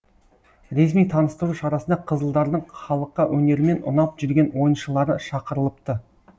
ресми таныстыру шарасына қызылдардың халыққа өнерімен ұнап жүрген ойыншылары шақырылыпты